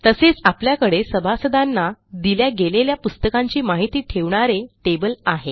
तसेच आपल्याकडे सभासदांना दिल्या गेलेल्या पुस्तकांची माहिती ठेवणारे टेबल आहे